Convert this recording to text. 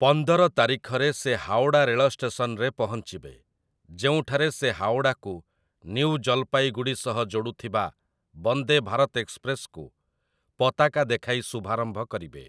ପନ୍ଦର ତାରିଖରେ ସେ ହାଓଡ଼ା ରେଳଷ୍ଟେସନରେ ପହଞ୍ଚିବେ, ଯେଉଁଠାରେ ସେ ହାଓଡ଼ାକୁ ନ୍ୟୁ ଜଲ୍‌ପାଇଗୁଡ଼ି ସହ ଯୋଡ଼ୁଥିବା ବନ୍ଦେ ଭାରତ ଏକ୍ସପ୍ରେସ୍‌କୁ ପତାକା ଦେଖାଇ ଶୁଭାରମ୍ଭ କରିବେ ।